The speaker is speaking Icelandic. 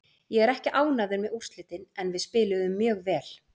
Ég er ekki ánægður með úrslitin en við spiluðum mjög vel.